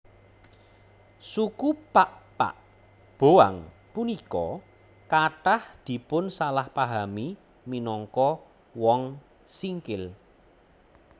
Suku Pakpak Boang punika kathah dipunsalahpahami minangka Wong Singkil